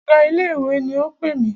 Ọ̀gá ilé ìwé ni o pè mí.